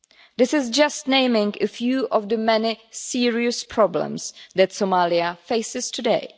This is just naming a few of the many serious problems that Somalia faces today.